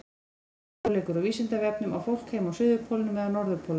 Frekari fróðleikur á Vísindavefnum Á fólk heima á suðurpólnum eða norðurpólnum?